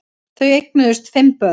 Þau eignuðust fimm börn